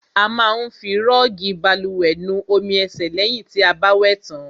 A má ń fi rọọgi bálùwẹ̀ nu omi ẹ̀sẹ̀ lẹ̀hìn ti a bá wẹ̀ tàn.